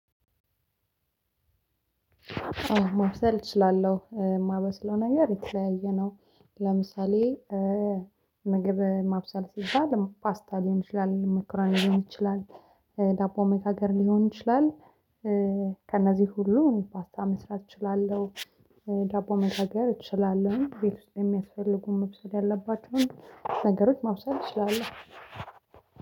ማብሰል እችላለሁ የማበስለው ነገር የተለያየ ነው። ለምሳሌ ምግብ ማብሰል ሲባል ፓስታ ሊሆን ይችላል ሞኮረኒ ሊሆን ይችላል ዳቦ መጋገር ሊሆን ይችላል። ከነዚህ ሁሉ እኔ ፓስታ መስራት እችላለሁ። ዳቦ መጋገር እችላለሁ ቤት ውስጥ የሚያስፈልጉን መብሰል ያለባቸውን ነገሮች ማብሰል እችላለሁ